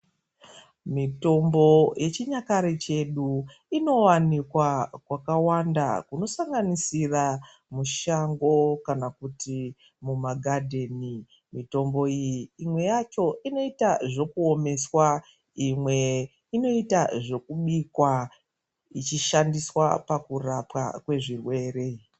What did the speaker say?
Mitombo yechinyakare chedu inowanikwa kwakawanda kunosanganisira mushango kana kuti mumagadheni. Mitombo iyi imwe yacho inoita zvekuomeswa, imwe inoita zvekubikwa ichishandiswa pakurapwa kwezvirwere.